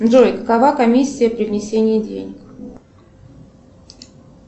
джой какова комиссия при внесении денег